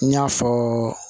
N y'a fɔ